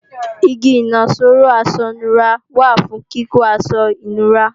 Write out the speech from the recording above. Igi ìnaṣọró aṣọ ìnura wà fún kíkọ́ aṣọ ìnura